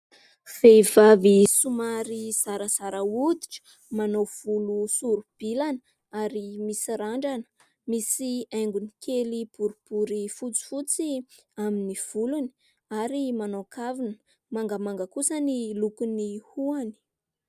Vehivavy zarazara hoditra, manao volo sori-bilana ary misy randrana. Misy haingony kely boribory fotsiotsy amin'ny volony ary manao kavina. Mangamanga kosa ny lokon'ny hohony.